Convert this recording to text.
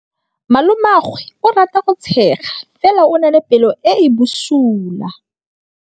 Malomagwe o rata go tshega fela o na le pelo e e bosula.